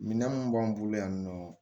Minan mun b'an bolo yan nɔ